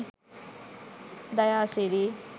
dayasiri